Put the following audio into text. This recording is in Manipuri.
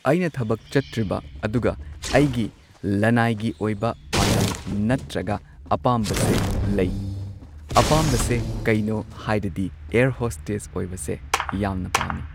ꯑꯩꯅ ꯊꯕꯛ ꯆꯠꯇ꯭ꯔꯤꯕ ꯑꯗꯨꯒ ꯑꯩꯒꯤ ꯂꯟꯅꯥꯏꯒꯤ ꯑꯣꯏꯕ ꯄꯥꯟꯗꯝ ꯅꯠꯇ꯭ꯔꯒ ꯑꯄꯥꯝꯕꯁꯦ ꯂꯩ ꯑꯄꯥꯝꯕꯁꯦ ꯀꯩꯅꯣ ꯍꯥꯏꯔꯗꯤ ꯑꯦꯌꯔ ꯍꯣꯁꯇꯦꯁ ꯑꯣꯏꯕꯁꯦ ꯌꯥꯝꯅ ꯄꯥꯝꯃꯤ ꯫